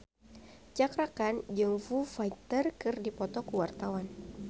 Cakra Khan jeung Foo Fighter keur dipoto ku wartawan